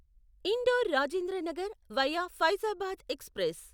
indoor Rajendra Nagar via Faizabad express